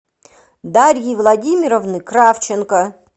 дарьи владимировны кравченко